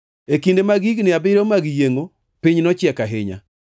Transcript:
E kinde mag higni abiriyo mag yiengʼo, piny nochiek ahinya.